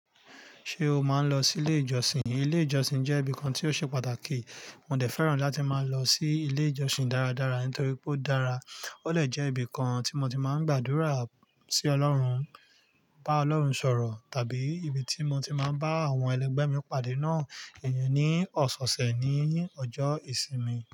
Ṣé o máa ń lọ sí ilé ìjọsìn? Ilé ìjọsìn jẹ́ ibìkan tí ó ṣe pàtàkì. Mo dẹ̀ fẹ́ràn láti máa ń lọ sí ilé ìjọsìn dáradára nítorí pé ó dára. Ó dè jẹ́ ibìkan tí mo ti máa ń gbàdúrà sí Ọlọ́run, bá Ọlọ́run sọ̀rọ̀ tàbí ibi tí mo ti máa ń bá àwọn ẹlẹgbẹ́ mi pàdé náà. Ẹ̀yin ni ọ̀sẹ̀ ọ̀sẹ̀ ni ọjọ́ ìsinmi.